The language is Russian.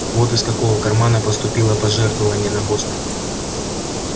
вот из какого кармана поступило пожертвование на госпиталь